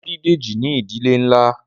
A bí Dèjì ní ìdílé nlá